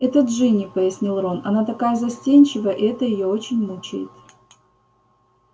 это джинни пояснил рон она такая застенчивая и это её очень мучает